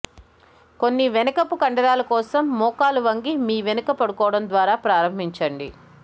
కొన్ని వెనుకపు కండరాల కోసం మోకాలు వంగి మీ వెనుక పడుకోవడం ద్వారా ప్రారంభించండి